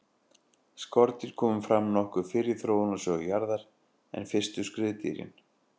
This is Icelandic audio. skordýr komu fram nokkuð fyrr í þróunarsögu jarðar en fyrstu skriðdýrin